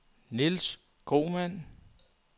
Niels Kromann